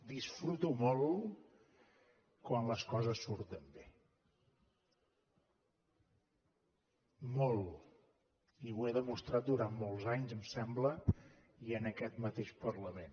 disfruto molt quan les coses surten bé molt i ho he demostrat durant molts anys em sembla i en aquest mateix parlament